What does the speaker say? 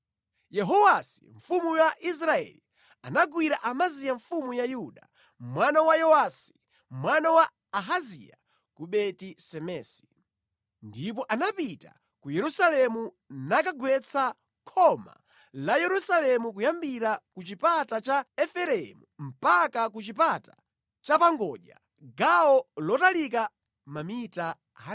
Yehowasi mfumu ya Israeli anagwira Amaziya mfumu ya Yuda, mwana wa Yowasi, mwana wa Ahaziya ku Beti-Semesi. Ndipo anapita ku Yerusalemu nakagwetsa khoma la Yerusalemu kuyambira ku Chipata cha Efereimu mpaka ku Chipata Chapangodya, gawo lotalika mamita 180.